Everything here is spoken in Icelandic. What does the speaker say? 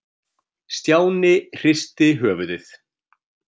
Stjáni hristi höfuðið.